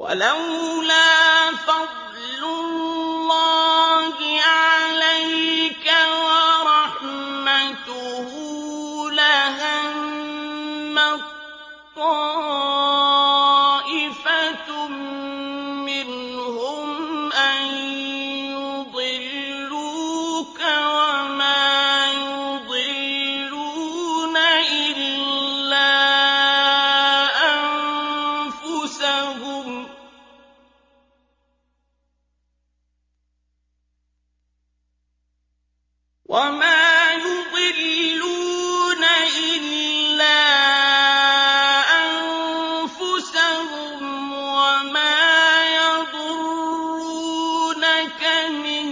وَلَوْلَا فَضْلُ اللَّهِ عَلَيْكَ وَرَحْمَتُهُ لَهَمَّت طَّائِفَةٌ مِّنْهُمْ أَن يُضِلُّوكَ وَمَا يُضِلُّونَ إِلَّا أَنفُسَهُمْ ۖ وَمَا يَضُرُّونَكَ مِن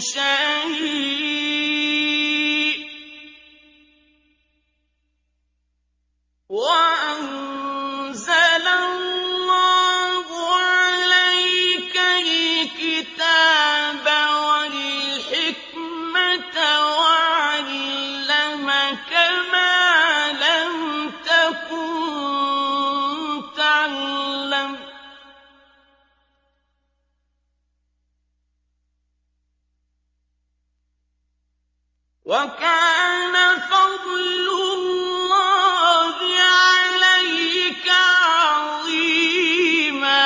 شَيْءٍ ۚ وَأَنزَلَ اللَّهُ عَلَيْكَ الْكِتَابَ وَالْحِكْمَةَ وَعَلَّمَكَ مَا لَمْ تَكُن تَعْلَمُ ۚ وَكَانَ فَضْلُ اللَّهِ عَلَيْكَ عَظِيمًا